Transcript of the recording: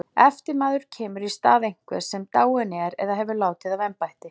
eftirmaður kemur í stað einhvers sem dáinn er eða hefur látið af embætti